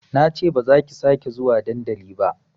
Nace bazaki sake zuwa dandali ba